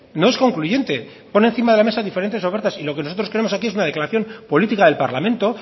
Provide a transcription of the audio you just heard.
no es concluyente pone encima de la mesa diferentes ofertas y lo que nosotros queremos aquí es una declaración política del parlamento